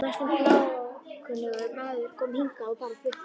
Næstum bláókunnugur maður, kominn hingað og bara fluttur inn.